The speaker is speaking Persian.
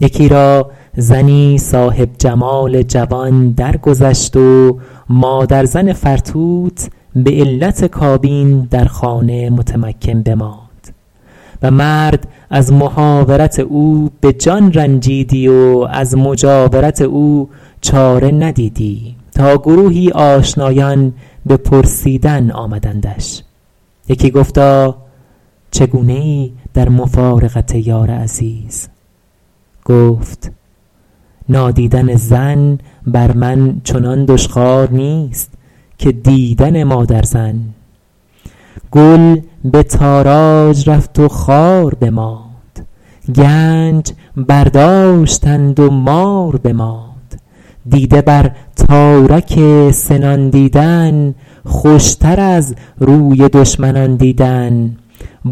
یکی را زنی صاحب جمال جوان درگذشت و مادرزن فرتوت به علت کابین در خانه متمکن بماند و مرد از محاورت او به جان رنجیدی و از مجاورت او چاره ندیدی تا گروهی آشنایان به پرسیدن آمدندش یکی گفتا چگونه ای در مفارقت یار عزیز گفت نادیدن زن بر من چنان دشخوار نیست که دیدن مادرزن گل به تاراج رفت و خار بماند گنج برداشتند و مار بماند دیده بر تارک سنان دیدن خوشتر از روی دشمنان دیدن